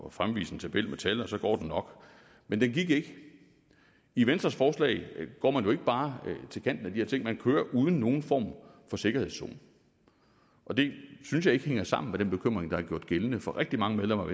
at fremvise en tabel med tal og så går den nok men den gik ikke i venstres forslag går man ikke bare til kanten af de her ting man kører uden nogen form for sikkerhedszone og det synes jeg ikke hænger sammen med den bekymring der har været gældende for rigtig mange medlemmer